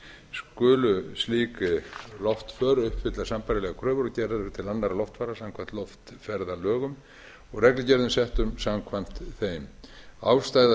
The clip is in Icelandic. skulu slík loftför uppfylla sambærilegar kröfur og gerðar eru til annarra loftfara samkvæmt loftferðalögum og reglugerðum settum samkvæmt þeim ástæða